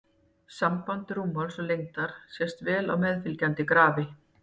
Samband rúmmáls og lengdar sést vel á meðfylgjandi grafi.